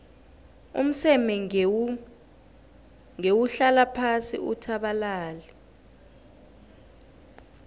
umseme ngewuhlala phasi uthabalale